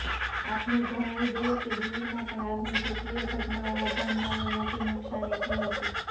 આપને જણાવી દઇએ કે દિલ્હીમાં પણ આગની કેટલીય ઘટનાઓમાં જાનામાલને મોટી નુકસાની થઇ હતી